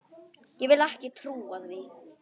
Ég vil ekki trúa því.